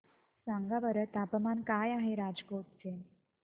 सांगा बरं तापमान काय आहे राजकोट चे